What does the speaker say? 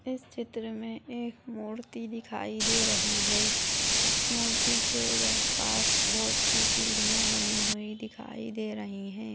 इस चित्र मे एक मूर्ति दिखाई दे रही है मूर्ति के इधर पास बहुत-सी सीढ़िया बनी हुई दिखाई दे रही है।